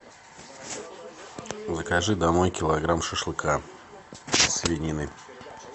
закажи домой килограмм шашлыка из свинины